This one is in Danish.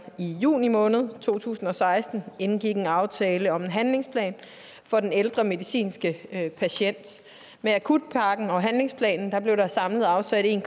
i juni måned to tusind og seksten indgik en aftale om en handlingsplan for den ældre medicinske patient med akutpakken og handlingsplanen blev der samlet afsat en